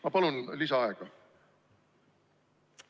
Ma palun lisaaega!